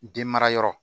Den mara yɔrɔ